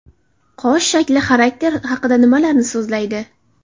Qosh shakli xarakter haqida nimalarni so‘zlaydi?